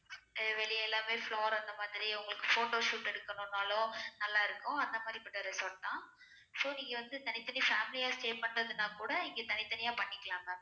வெளிய எல்லாமே flower அந்த மாதிரி உங்களுக்கு photoshoot எடுக்கணும்னாலும் நல்லா இருக்கும் அந்த மாறி பட்ட resort தான் so நீங்க வந்து தனி தனி family ஆ stay பண்ணுறதுனா கூட இங்க தனி தனியா பண்ணிக்கலாம் ma'am